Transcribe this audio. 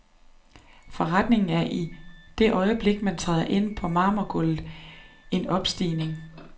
Forretningen er, i det øjeblik man træder ind på marmorgulvet, en opstigning.